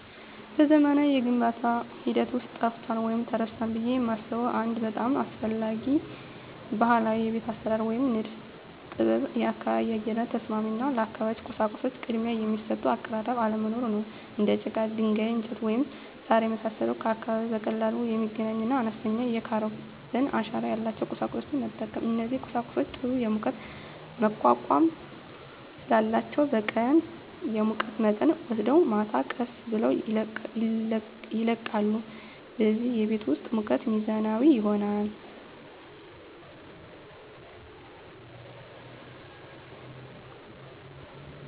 በዘመናዊው የግንባታ ሂደት ውስጥ ጠፍቷል ወይም ተረስቷል ብዬ የማስበው አንድ በጣም አስፈላጊ ባህላዊ የቤት አሰራር ወይም የንድፍ ጥበብ የአካባቢ የአየር ንብረት ተስማሚ እና ለአካባቢው ቁሳቁሶች ቅድሚያ የሚሰጥ አቀራረብ አለመኖር ነው። እንደ ጭቃ፣ ድንጋይ፣ እንጨት፣ ወይም ሣር የመሳሰሉ ከአካባቢው በቀላሉ የሚገኙና አነስተኛ የካርበን አሻራ ያላቸውን ቁሳቁሶች መጠቀም። እነዚህ ቁሳቁሶች ጥሩ የሙቀት መቋቋም ስላላቸው በቀን የሙቀት መጠንን ወስደው ማታ ቀስ ብለው ይለቃሉ፣ በዚህም የቤት ውስጥ ሙቀት ሚዛናዊ ይሆናል።